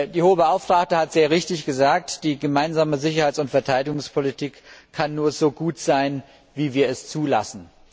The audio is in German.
Die Hohe Beauftragte hat sehr richtig gesagt Die gemeinsame Sicherheits und Verteidigungspolitik kann nur so gut sein, wie wir es zulassen.